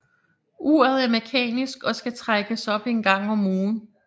Uret er mekanisk og skal trækkes op en gang om ugen